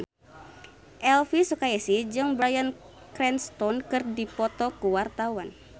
Elvi Sukaesih jeung Bryan Cranston keur dipoto ku wartawan